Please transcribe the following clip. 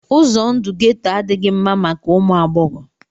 Ụzọ ndụ geto adịghị mma maka ụmụ agbọghọ